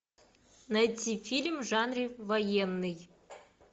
найти фильм в жанре военный